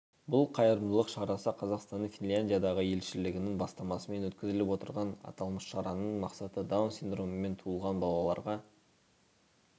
бұл қайырымдылық шарасы қазақстанның финляндиядағы елшілігінің бастамасымен өткізіліп отыр аталмыш шараның мақсаты даун синдромымен туылған балаларға